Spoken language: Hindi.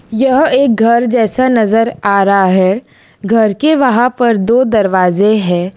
यह एक घर जैसा नजर आ रहा है घर के वहां पर दो दरवाजे हैं।